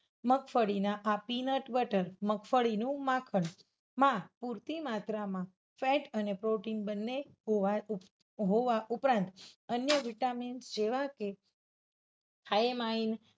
મગફળીના આ peanut butter, મગફળીનું માખણમાં પુરતી માત્રામાં fat અને protein બંને હોવા ઉપરાંત અન્ય vitamins જેવા કે thiamines